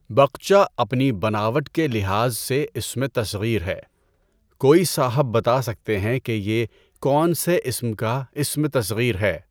بقچہ اپنی بناوٹ کے لحاظ سے اسمِ تصغیر ہے۔ کوئی صاحب بتا سکتے ہیں کہ یہ کون سے اسم کا اسم تصغیر ہے؟